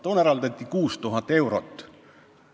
Toona eraldati selleks 6000 eurot.